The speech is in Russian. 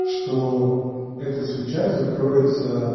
что эта свеча закроется